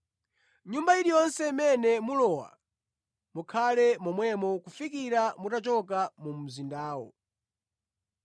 Nyumba iliyonse imene mulowa, mukhale momwemo kufikira mutachoka mu mzindawo.